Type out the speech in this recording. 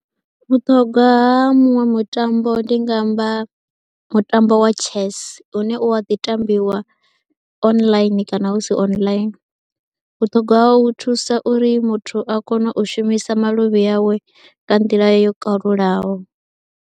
Vhuṱhogwa ha muṅwe mutambo ndi nga amba mutambo wa chess une u a ḓi tambiwa online kana hu si online, vhuṱhogwa hawo u thusa uri muthu a kone u shumisa maluvhi awe nga nḓila yo kalulaho.